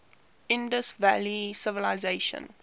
indus valley civilisation